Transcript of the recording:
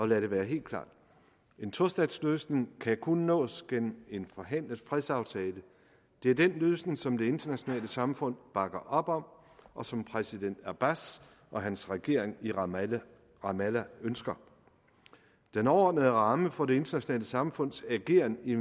lad det være helt klart en tostatsløsning kan kun nås gennem en forhandlet fredsaftale det er den løsning som det internationale samfund bakker op om og som præsident abbas og hans regering i ramallah ramallah ønsker den overordnede ramme for det internationale samfunds ageren i